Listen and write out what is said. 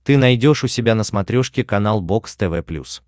ты найдешь у себя на смотрешке канал бокс тв плюс